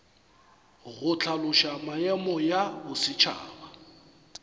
go hlaloša maemo ya bosetšhaba